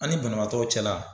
An ni banabaatɔw cɛla